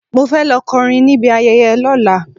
Mo fẹ́ lọ kọ́ orin níbi ayẹyẹ lọ́la.